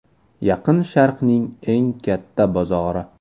Yaqin Sharqning eng katta bozori.